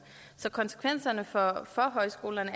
så konsekvenserne for højskolerne